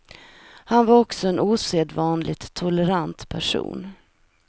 Han var också en osedvanligt tolerant person.